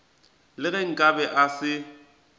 le ge nkabe a se